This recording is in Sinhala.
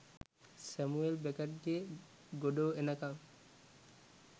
සැමුවෙල් බෙකට්ගේ "ගොඩෝ එනකං"